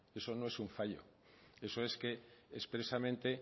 eso no es un fallo eso es que expresamente